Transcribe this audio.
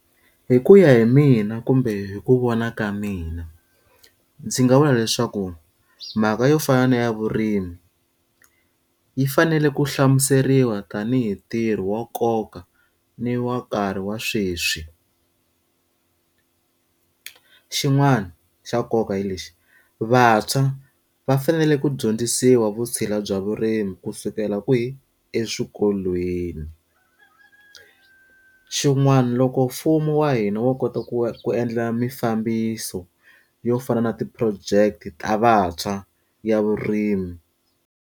Hi ku ya hi mina kumbe hi ku vona ka mina, ndzi nga vula leswaku mhaka yo fana na ya vurimi, yi fanele ku hlamuseriwa tanihi ntirho wa nkoka ni wa nkarhi wa sweswi. Xin'wani xa nkoka hi lexi vantshwa va fanele ku dyondzisiwa vutshila bya vurimi kusukela kwihi? Eswikolweni. Xin'wana loko mfumo wa hina wo kota ku ku endla mimfambiso yo fana na ti-project ta vantshwa ya vurimi.